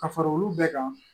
Ka fara olu bɛɛ kan